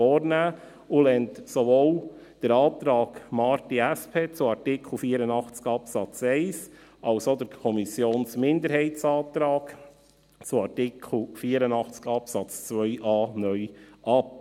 Sie lehnt sowohl den Antrag Marti, SP, zu Artikel 84 Absatz 1 als auch den Kommissionsminderheitsantrag zu Artikel 84 Absatz 2a (neu) ab.